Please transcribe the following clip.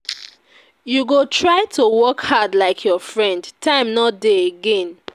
You go try to work hard like your friend, time no dey again.